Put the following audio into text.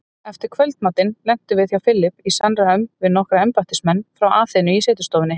Eftir kvöldmatinn lentum við Philip í samræðum við nokkra embættismenn frá Aþenu í setustofunni.